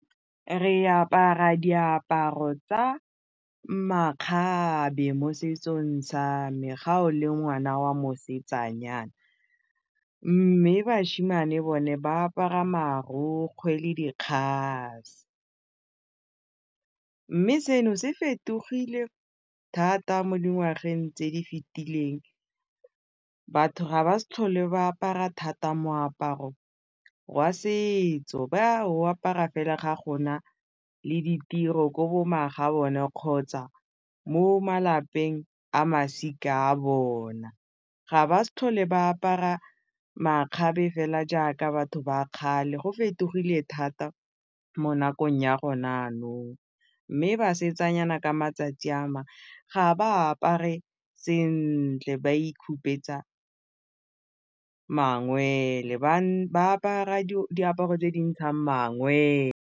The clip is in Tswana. Re apara diaparo tsa makgabe mo setsong sa me ga o le ngwana wa mosetsanyana mme bašemane bone ba apara marokgwe le mme seno se fetogile thata mo dingwageng tse di fetileng batho ga ba sa tlhole ba apara thata moaparo wa setso ba wa o apara fela ga go na le ditiro ko kgotsa mo malapeng a masika a bona ga ba sa tlhole ba apara makgabe fela jaaka batho ba kgale, go fetogile thata mo nakong ya gone jaanong, mme basetsanyana ka matsatsi ga ba apare sentle ba mangwele ba apara diaparo tse dintshang mangwele.